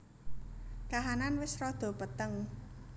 Kahanan wis rada peteng